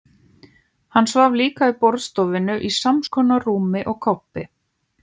Hann svaf líka í borðstofunni, í samskonar rúmi og Kobbi.